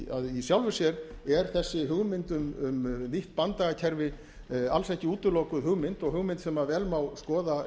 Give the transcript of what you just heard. í sjálfu sér er þessi hugmynd um nýtt banndagakerfi alls ekki útilokuð hugmynd og hugmynd sem vel má skoða